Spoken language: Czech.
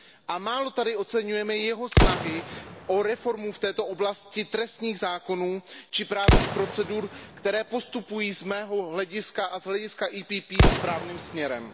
A málo tady oceňujeme jeho snahy o reformu v této oblasti trestních zákonů či právních procedur, které postupují z mého hlediska a z hlediska PPE správným směrem.